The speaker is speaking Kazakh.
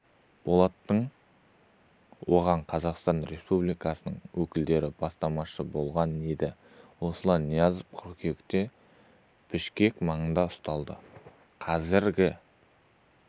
болатын оған қазақстан республикасының өкілдері бастамашы болған еді осылайша ниязов қыркүйекте бішкек маңында ұсталды қазіргі